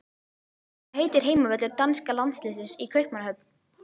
Hvað heitir heimavöllur danska landsliðsins í Kaupmannahöfn?